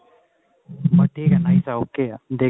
but ਠੀਕ ਆ nice ਹੈ okay ਹੈ ਦੇਖ